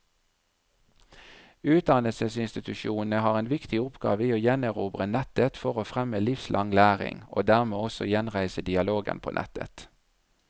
Utdannelsesinstitusjonene har en viktig oppgave i å gjenerobre nettet for å fremme livslang læring, og dermed også gjenreise dialogen på nettet.